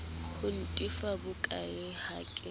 ho ntefa bokae ha ke